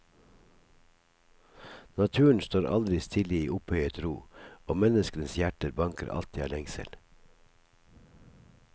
Naturen står aldri stille i opphøyet ro, og menneskenes hjerter banker alltid av lengsel.